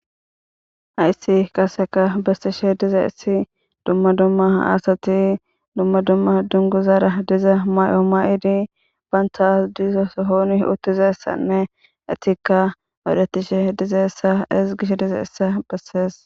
hayssi kaseka bessishe diza issi dumma dumma asati dumma dumma dungu zara diza may7o ma7idi baynta diizo sohooni uttizessanne etikka odetishe dizaessa is gish diza issa bessees